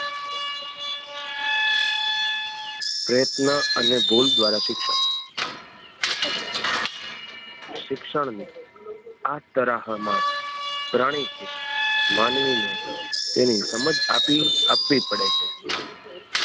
પ્રયત્ન અને ભૂલ દ્વારા શિક્ષણ શિક્ષણ ને આ તરાહ માં પ્રાણી કે માનવી ને તેની સમજ આપી આપવી પડે છે.